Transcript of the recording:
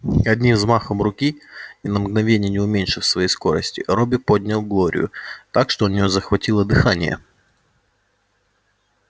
одним взмахом руки ни на мгновение не уменьшив своей скорости робби поднял глорию так что у неё захватило дыхание